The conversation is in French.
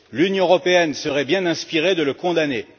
L'Union européenne serait bien inspirée de le condamner.